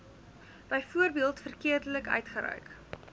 byvoorbeeld verkeerdelik uitgereik